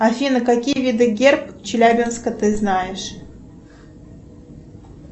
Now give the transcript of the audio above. афина какие виды герб челябинска ты знаешь